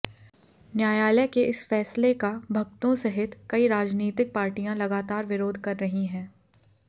न्यायालय के इस फैसले का भक्तों सहित कई राजनीतिक पार्टियां लगातार विरोध कर रही हैं